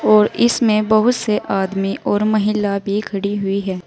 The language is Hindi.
और इसमें बहुत से आदमी और महिला भी खड़ी हुई है।